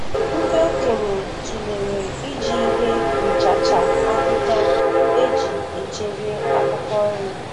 Ndị okenye tụlere iji ihe nchacha ahịhịa eji echebe akwụkwọ nri.